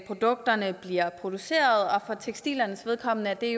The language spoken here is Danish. produkterne bliver produceret og for tekstilernes vedkommende er